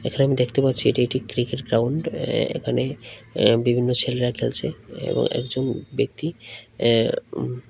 হ্যাঁ আমি দেখতে পাচ্ছি এটি একটি ক্রিকেট গ্রাউন্ড এ এখানে এ বিভিন্ন ছেলেরা খেলছে এবং একজন ব্যক্তি এ্যাঁ উ--